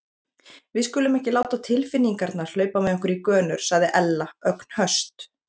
Við skulum ekki láta tilfinningarnar hlaupa með okkur í gönur sagði Ella, ögn höst.